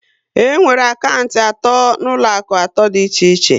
E nwere akantị atọ n'ụlọaku atọ dị iche iche